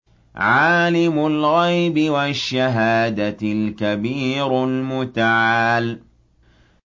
عَالِمُ الْغَيْبِ وَالشَّهَادَةِ الْكَبِيرُ الْمُتَعَالِ